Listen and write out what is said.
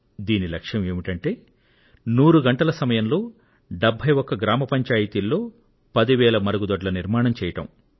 దీని లక్ష్యం ఏమిటీ అంటే నూరు గంటల సమయంలో 71 గ్రామ పంచాయతీల్లో 10 వేల మరుగుదొడ్ల నిర్మాణం చేయడం